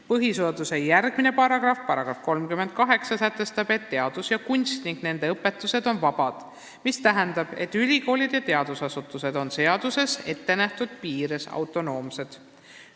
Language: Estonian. Põhiseaduse järgmine paragrahv, § 38 sätestab, et teadus ja kunst ning nende õpetused on vabad, mis tähendab, et ülikoolid ja teadusasutused on seaduses ettenähtud piires autonoomsed.